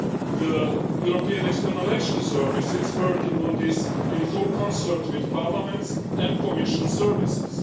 The European External Action Service is working on this in full concert with Parliament's and the Commission's services.